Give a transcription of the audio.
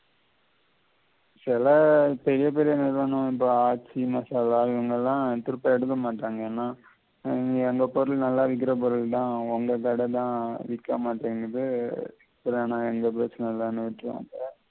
சில பெரிய பெரிய நிறுவனம் இப்ப ஆய்ச்சி மசாலா திரும்ப எடுக்கமாட்டாங்க ஏன்னா அந்த பொருள் நல்லா விக்கிற பொருள்தான் அவங்க கட தான் விக்கமாட்டேங்குது